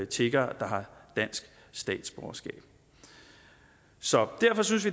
tiggere der har dansk statsborgerskab så derfor synes